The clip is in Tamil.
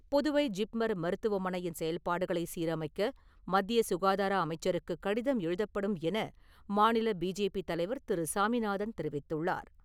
புதுவை ஜிப்மர் மருத்துவமனையின் செயல்பாடுகளைச் சீரமைக்க மத்திய சுகாதார அமைச்சருக்குக் கடிதம் எழுதப்படும் என மாநில பிஜேபி தலைவர் திரு. சாமிநாதன் தெரிவித்துள்ளார்.